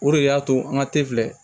O de y'a to an ka tefu filɛ